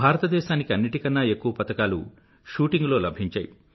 భారతదేశానికి అన్నింటికన్నా ఎక్కువ పతకాలు షూటింగ్ లో లభించాయి